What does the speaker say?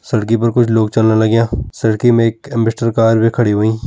सड़कि पर कुछ लोग चलन लग्यां। सड़कि में एक एम्बेस्टर कार वे खड़ी ह्वईं।